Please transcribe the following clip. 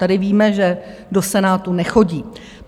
Tady víme, že do Senátu nechodí.